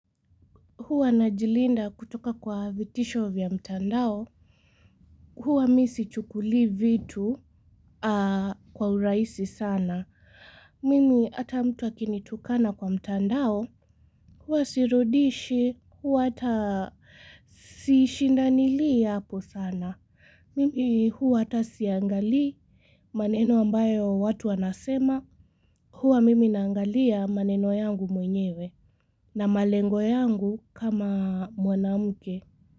Huwa najilinda kutoka kwa vitisho vya mtandao. Huwa mi sichukuli vitu kwa uraisi sana. Mimi ata mtu akinitukana kwa mtandao. Huwa sirudishi. Huwa ata sishindanili hapo sana. Mimi huwa ata siangali maneno ambayo watu wanasema. Huwa mimi naangalia maneno yangu mwenyewe. Na malengo yangu kama mwanamke.